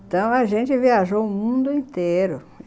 Então, a gente viajou o mundo inteiro.